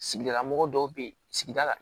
Sigilamɔgɔ dɔw bɛ yen sigida la